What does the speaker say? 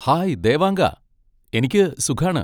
Hi ദേവാങ്കാ! എനിക്ക് സുഖാണ്.